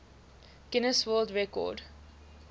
guinness world record